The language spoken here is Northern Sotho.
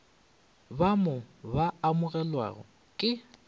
ba mo ba amogelwago ke